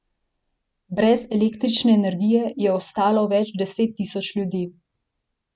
Brez električne energije je ostalo več deset tisoč ljudi.